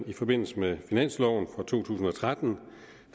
i forbindelse med finansloven for to tusind og tretten